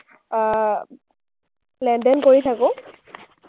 আহ লেনদেন কৰি থাকোঁ,